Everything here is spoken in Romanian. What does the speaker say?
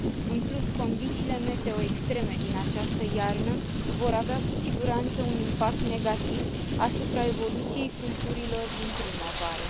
În plus, condițiile meteo extreme din această iarnă vor avea, cu siguranță, un impact negativ asupra evoluției culturilor din primăvară.